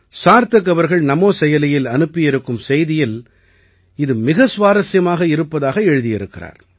சார்த்தக் அவர்கள் நமோ செயலியில் அனுப்பி இருக்கும் செய்தியில் இது மிக சுவாரசியமாக இருப்பதாக எழுதி இருக்கிறார்